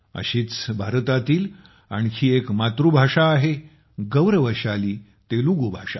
अशीच भारतातील आणखी एक मातृभाषा आहे तेलुगू भाषा